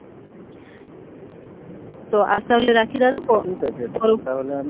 তো আজ তাহলে রাখি দাদা পরে ঠিকআছে তাহলে আমি